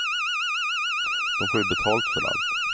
De får ju betalt för allt.